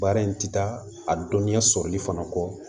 Baara in ti taa a dɔnya sɔrɔli fana kɔ